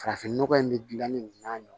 Farafinnɔgɔ in bɛ gilanni nin n'a ɲɔgɔn